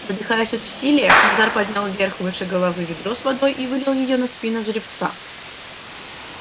задыхаясь от усилия назар поднял вверх выше головы ведро с водой и вылил её на спину жеребца от холки до хвоста